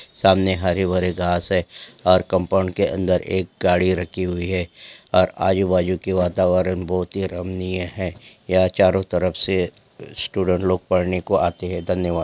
सामने हरे-भरे घास है और कंपाउंड के अन्दर एक गाड़ी रखी हुइ है और आजू-बाजु के वातावरण बहुत ही रमनीय है यहाँ चारो तरफ से स्टूडंट लोग पढ़ने को आते हैं धन्यवाद।